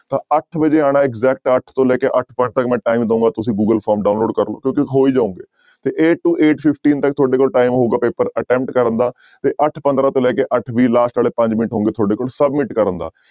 ਤਾਂ ਅੱਠ ਵਜੇ ਆਉਣਾ exact ਅੱਠ ਤੋਂ ਲੈ ਕੇ ਅੱਠ ਪੰਜ ਤੱਕ ਮੈਂ time ਦਉਂਗਾ ਤੁਸੀਂ ਗੂਗਲ form download ਕਰ ਹੋ ਹੀ ਜਾਓਗੇ ਤੇ eight to eight fifteen ਤੱਕ ਤੁਹਾਡੇ ਕੋਲ time ਹੋਊਗਾ ਪੇਪਰ attempt ਕਰਨ ਦਾ ਤੇ ਅੱਠ ਪੰਦਰਾਂ ਤੋਂ ਲੈ ਕੇ ਅੱਠ ਵੀਹ last ਵਾਲੇ ਪੰਜ ਮਿੰਟ ਹੋਣਗੇ ਤੁਹਾਡੇ ਕੋਲ submit ਕਰਨ ਦਾ।